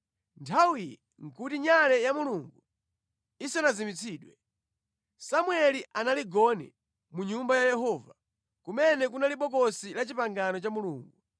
Nthawiyi nʼkuti nyale ya Mulungu isanazimitsidwe. Samueli anali gone mu Nyumba ya Yehova, kumene kunali Bokosi la Chipangano cha Mulungu.